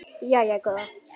Jæja góða.